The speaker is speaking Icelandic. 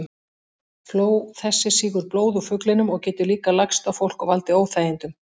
Fló þessi sýgur blóð úr fuglinum og getur líka lagst á fólk og valdið óþægindum.